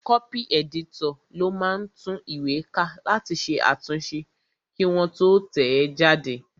Kọ́pì ẹ̀dítọ̀ ló máa ń tún ìwé ká láti ṣe àtúnṣe kí wọ́n tó tẹ̀ ẹ́ jáde